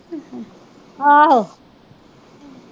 ਆਹ